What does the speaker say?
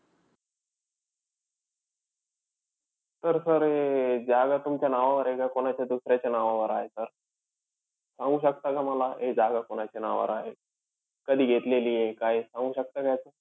तर sir ही जागा तुमच्या नावावर आहे का कोणाच्या दुसऱ्याच्या नावावर आहे sir? सांगू शकता का मला हे जागा कोणाच्या नावावर आहे? कधी घेतलेलीय काय सांगू शकता का याचं?